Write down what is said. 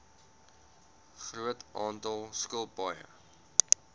groot aantal skilpaaie